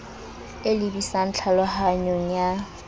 e lebi sang tlhalohanyong ya